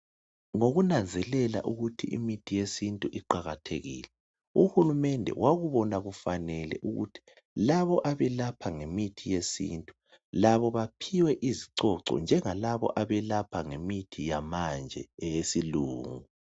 Ukunanzelela ukuthi imithi yesintu iqakathekile Uhulumende wakubona kufanele ukuthi laba abelapha ngemithi yesintu labo baphiwe izicoco njengalaba abelapha ngemithi yamanje eyesilungu